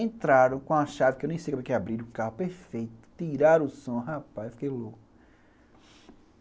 Entraram com uma chave que eu nem sei como é que abriram o carro, perfeito, tiraram o som, rapaz, eu fiquei louco.